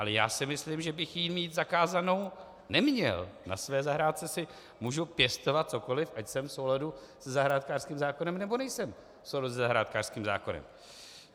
Ale já si myslím, že bych ji mít zakázanou neměl, na své zahrádce si můžu pěstovat cokoli, ať jsem v souladu se zahrádkářským zákonem, nebo nejsem v souladu se zahrádkářským zákonem.